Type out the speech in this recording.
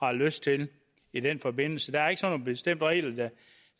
har lyst til i den forbindelse der er ikke sådan nogle bestemte regler